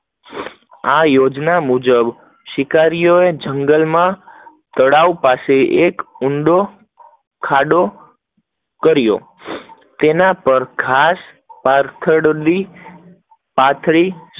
આ યોજના પ્રમાણે શિકારીઓ જંગલ માં તળાવ પાસે ઊંડો ખાડો કર્યો, તેના પર ઘાસ પાથરડી પાથરી,